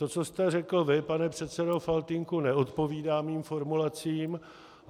To, co jste řekl vy, pane předsedo Faltýnku, neodpovídá mým formulacím.